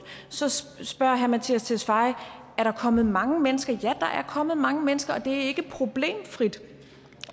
så så spørger herre mattias tesfaye er der kommet mange mennesker ja der er kommet mange mennesker og det er ikke problemfrit